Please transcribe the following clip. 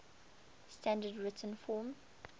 standard written form